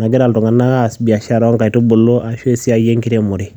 nagira iltunganak aas biashara oonkaitubulu ashu esiai enkiremore.